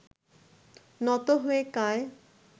নত হয়ে কায়